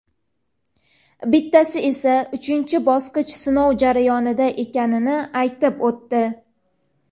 bittasi esa uchinchi bosqich sinov jarayonida ekanini aytib o‘tdi.